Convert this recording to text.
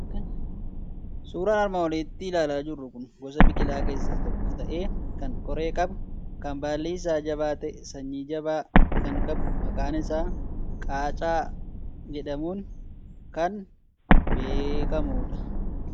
Suuraan armaan olitti ilaalaa jirru kun gosa biqilaa keessaa tokko ta'ee, kan qoree qabu, kan baalli isaa jabaa ta'e, sanyii jaba kan qabu, maqaan isaa qaacaa jedhamuun kan beekamu dha.